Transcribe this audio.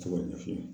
Se ka ɲɛfɔ